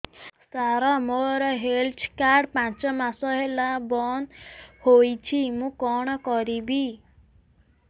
ସାର ମୋର health card ପାଞ୍ଚ ମାସ ହେଲା ବଂଦ ହୋଇଛି ମୁଁ କଣ କରିବି